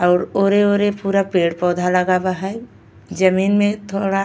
और ओरे ओरे पूरा पेड़ पौधा लगावा है। जमीन में थोड़ा --